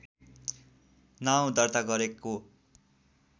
नाउँ दर्ता गरेको